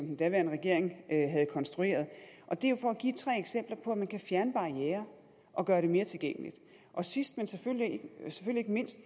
den daværende regering havde konstrueret det er jo for at give tre eksempler på at man kan fjerne barrierer og gøre det mere tilgængeligt og sidst men selvfølgelig ikke mindst